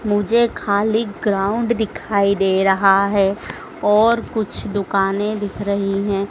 मुझे खाली ग्राउंड दिखाई दे रहा है और कुछ दुकाने दिख रही हैं।